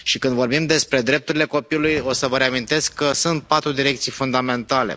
Și când vorbim despre drepturile copilului, o să vă reamintesc că sunt patru direcții fundamentale.